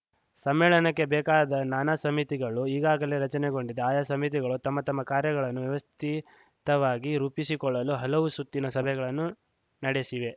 ಸಮ್ಮೇಳನಕ್ಕೆ ಬೇಕಾದ ನಾನಾ ಸಮಿತಿಗಳು ಈಗಾಗಲೇ ರಚನೆಗೊಂಡಿದ್ದು ಆಯಾ ಸಮಿತಿಗಳು ತಮ್ಮ ತಮ್ಮ ಕಾರ್ಯಗಳನ್ನು ವ್ಯವಸ್ಥಿತವಾಗಿ ರೂಪಿಸಿಕೊಳ್ಳಲು ಹಲವು ಸುತ್ತಿನ ಸಭೆಗಳನ್ನು ನಡೆಸಿವೆ